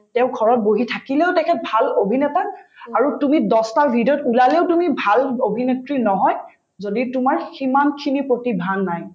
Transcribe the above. তেওঁ ঘৰত বহি থাকিলেও তেখেত ভাল অভিনেতা আৰু তুমি দহটাৰ video ত ওলালেও তুমি ভাল অভিনেত্ৰী নহয় যদি তোমাৰ সিমানখিনি প্ৰতিভা নাই